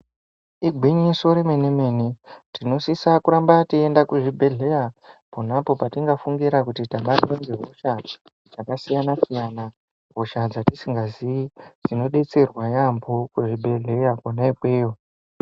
Mishini yechingezi irimo muzvibhedhlera, inohloye kutamba kemwoyo, yobhuyazve mutombo inodiwa. Zviro zvisingaonekwi ngemadhokodheya ngemadziso ndozvinoshanda mishini iyoyo.